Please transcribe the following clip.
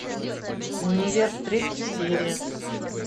универ третья серия